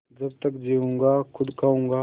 जब तक जीऊँगा खुद खाऊँगा